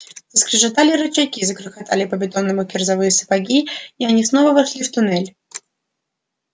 заскрежетали рычаги загрохотали по бетону кирзовые сапоги и они снова вошли в туннель